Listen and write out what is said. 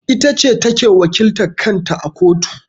Ita ce ta ke wakiltar kan ta a kotu.